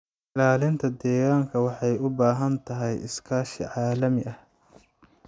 Ilaalinta deegaanka waxay u baahan tahay iskaashi caalami ah.